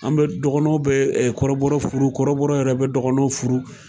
An bɛ dɔkɔnɔw bɛ kɔrɔbɔtɔ furu, kɔrɔbɔɔ yɛrɛ bɛ dɔgɔnɔw furu.